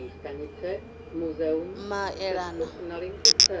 muleḓane